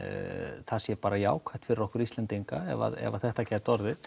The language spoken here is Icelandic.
það sé bara jákvætt fyrir okkur Íslendinga ef þetta gæti orðið